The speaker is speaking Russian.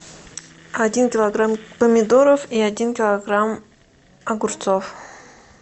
один килограмм помидоров и один килограмм огурцов